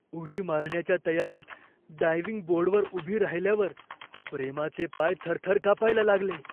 उडी मारण्याच्या तयारीत डायव्हिंग बोर्डवर उभी राहिल्यावर प्रेमाचे पाय थरथर कापायला लागले.